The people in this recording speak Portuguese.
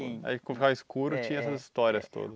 Aí quando ficava escuro, tinha essas histórias todas.